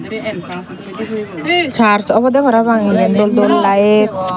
church obodey parapang iben dol dol light.